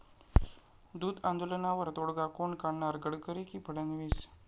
दूध आंदोलनावर तोडगा कोण काढणार?, गडकरी की फडणवीस?